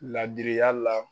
Ladiriya la.